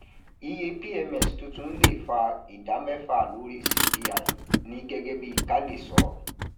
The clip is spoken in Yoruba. iye pms tuntun lè um fa ìdá mẹfà lórí cpi ní gẹgẹ bí kale sọ